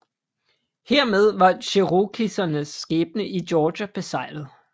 Hermed var cherokesernes skæbne i Georgia beseglet